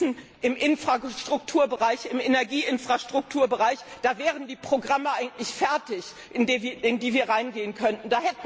Wir wissen, im Infrastrukturbereich, im Energieinfrastrukturbereich wären die Programme eigentlich fertig, in die wir reingehen könnten.